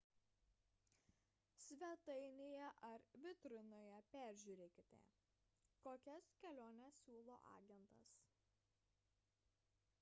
svetainėje ar vitrinoje peržiūrėkite kokias keliones siūlo agentas